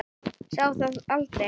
Sá það aldrei